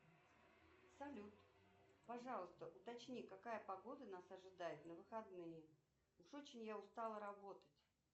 салют пожалуйста уточни какая погода нас ожидает на выходные уж очень я устала работать